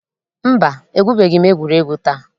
Mba, egwubeghi m egwuregwu taa.